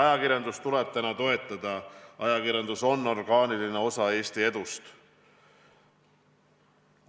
Ajakirjandust tuleb täna toetada, ajakirjandus on orgaaniline osa Eesti edust.